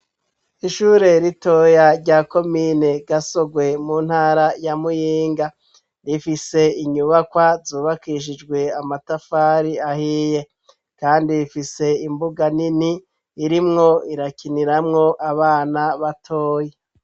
Ishure ritoya rya komine gasogwe mu ntara ya muyinga, rifise inyubakwa zubakishijwe amatafari ahiye kandi rifise imbuga nini irimwo irakiniramwo abana batoya.